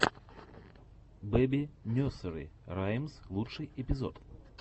бэби несери раймс лучший эпизод